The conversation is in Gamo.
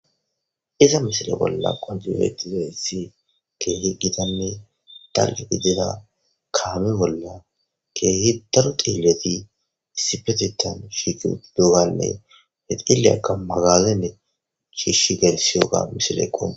Izza missile bolla qonicci betizayissi kehi Gita nne daliga gidizza kame bolla kehi daro cilila issippeteththan shiqi uttidoganne hee cilila magazin shishshi geliththoyo mossilekko